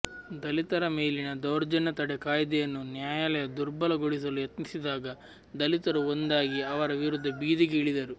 ದಲಿತರ ಮೇಲಿನ ದೌರ್ಜನ್ಯ ತಡೆ ಕಾಯ್ದೆಯನ್ನು ನ್ಯಾಯಾಲಯ ದುರ್ಬಲ ಗೊಳಿಸಲು ಯತ್ನಿಸಿದಾಗ ದಲಿತರು ಒಂದಾಗಿ ಅದರ ವಿರುದ್ಧ ಬೀದಿಗೆ ಇಳಿದರು